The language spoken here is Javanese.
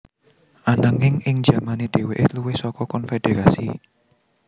Ananging ing jamane dhèwèké luwih saka konfederasi